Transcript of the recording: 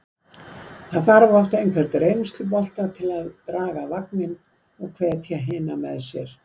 Það þarf oft einhvern reynslubolta til að draga vagninn og hvetja hina með sér.